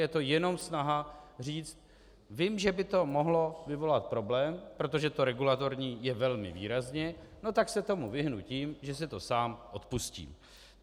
Je to jenom snaha říct vím, že by to mohlo vyvolat problém, protože to regulatorní je velmi výrazně, no tak se tomu vyhnu tím, že si to sám odpustím.